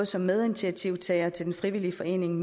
som medinitiativtager til den frivillige forening